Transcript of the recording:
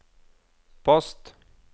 post